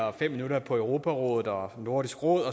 og fem minutter på europarådet og nordisk råd